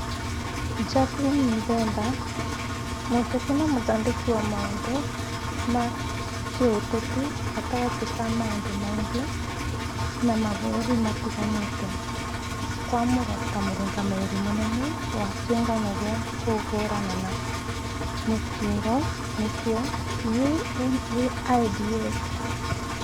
Jackline Miremba: Mũteti na mũthondeki wa maũndũ ma kĩũteti gatagatĩ ka maũndũ maingĩ na mabũrũri matiganĩte, kwamũrwo ta mũrũgamĩrĩri mũnene wa kĩũngano gĩa kũhũrana na mũkingo nĩkĩo UNAIDS